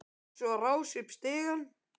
Tók svo á rás upp stigann.